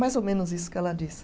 Mais ou menos isso que ela diz.